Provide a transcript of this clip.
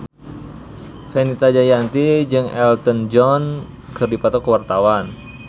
Fenita Jayanti jeung Elton John keur dipoto ku wartawan